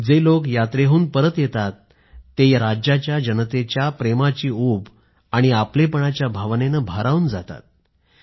जे लोक यात्रेहून परत येतात ते राज्याच्या जनतेची प्रेमाची उब आणि आपलेपणाच्या भावनेनं भारावून जातात